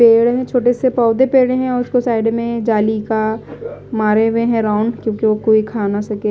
पेड़ छोटे से पौधे पड़े हैं और उसको साइड में जाली का मारे हुए हैंराउंड क्योंकि वो कोई खा ना सके--